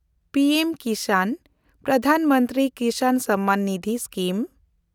P ᱮᱢ-ᱠᱤᱥᱟᱱ (Pradhan Mantri Kisan Samman Nidhi) scheme